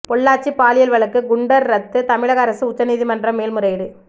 பொள்ளாச்சி பாலியல் வழக்கு குண்டர் ரத்து தமிழக அரசு உச்சநீதிமன்றம் மேல்முறையீடு